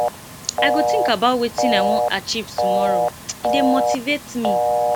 i go think about wetin i wan achieve tomorrow e dey motivate me